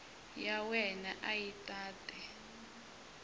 ya wena a yi tate